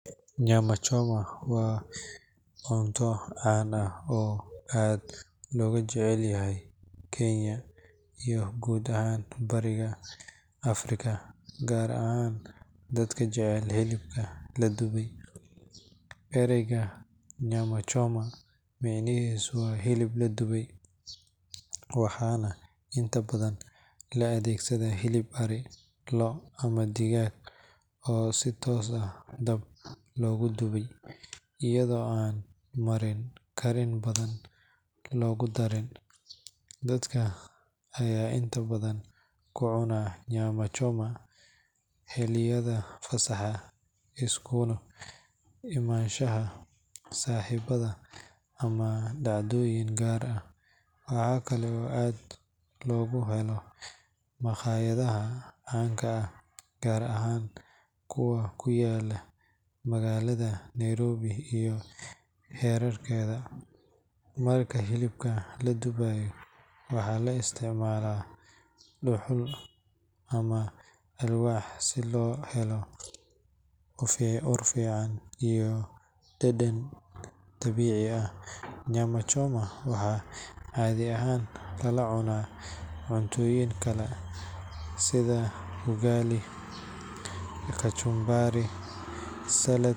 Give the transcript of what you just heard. Nyama choma waa cunto caan ah oo aad looga jecel yahay Kenya iyo guud ahaan Bariga Afrika, gaar ahaan dadka jecel hilibka la dubay. Erayga nyama choma micnihiisu waa "hilib la dubay", waxaana inta badan loo adeegsadaa hilib ari, lo', ama digaag oo si toos ah dab loogu dubay iyadoo aan marin karin badan lagu darin. Dadka ayaa inta badan ku cuna nyama choma xilliyada fasaxa, isugu imaanshaha saaxiibada ama dhacdooyin gaar ah. Waxa kale oo aad looga helo makhaayadaha caanka ah, gaar ahaan kuwa ku yaalla magaalada Nairobi iyo hareeraheeda. Marka hilibka la dubaayo, waxaa la isticmaalaa dhuxul ama alwaax si loo helo ur fiican iyo dhadhan dabiici ah. Nyama choma waxaa caadi ahaan lala cunaa cuntooyin kale sida ugali, kachumbari (salad).